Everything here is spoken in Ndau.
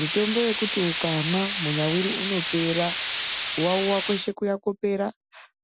Mitombo yekuti ukamwa kuwawiwa kweshe kunopera